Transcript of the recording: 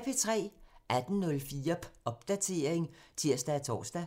18:04: Popdatering (tir og tor)